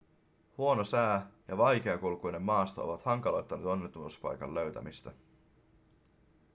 huono sää ja vaikeakulkuinen maasto ovat hankaloittaneet onnettomuuspaikan löytämistä